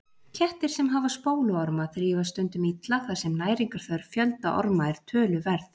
Kettir sem hafa spóluorma þrífast stundum illa þar sem næringarþörf fjölda orma er töluverð.